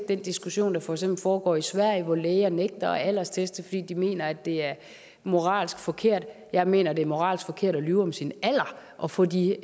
den diskussion der for eksempel foregår i sverige hvor læger nægter at aldersteste fordi de mener det er moralsk forkert jeg mener det er moralsk forkert at lyve om sin alder og få de